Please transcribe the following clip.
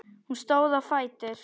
Hún stóð á fætur.